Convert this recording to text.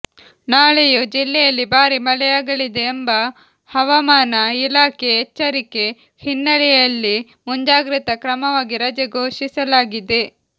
ನಾಳೆಯೂ ಜಿಲ್ಲೆಯಲ್ಲಿ ಭಾರೀ ಮಳೆಯಾಗಲಿದೆ ಎಂಬ ಹವಾಮಾನ ಇಲಾಖೆ ಎಚ್ಚರಿಕೆ ಹಿನ್ನೆಲೆಯಲ್ಲಿ ಮುಂಜಾಗ್ರತಾ ಕ್ರಮಮಾಗಿ ರಜೆ ಘೋಷಿಸಲಾಗಿದೆ